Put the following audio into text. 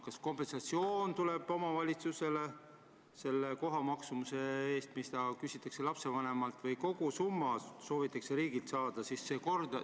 Kas kompensatsioon omavalitsusele tuleb selle kohatasu ulatuses, mis küsitakse lapsevanemalt, või kogu summa soovitakse riigilt saada?